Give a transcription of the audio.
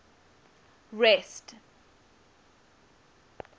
rest